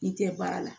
N tɛ baara la